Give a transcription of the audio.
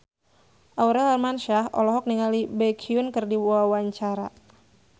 Aurel Hermansyah olohok ningali Baekhyun keur diwawancara